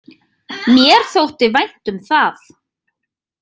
Mér þótti vænt um það.